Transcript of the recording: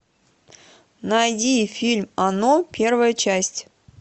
найди фильм оно первая часть